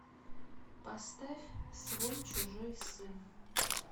поставь свой чужой сын